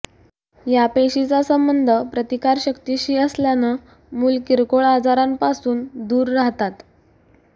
या पेशीचा संबंध प्रतिकारशक्तीशी असल्यानं मूल किरकोळ आजारांपासून दूर राहातात